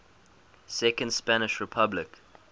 second spanish republic